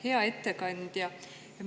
Hea ettekandja!